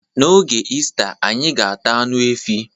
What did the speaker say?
N'oge Ista, anyi ga-ata anụ efi